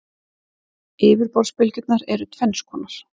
Yfirborðsbylgjurnar eru tvenns konar.